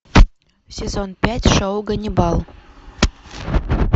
сезон пять шоу ганнибал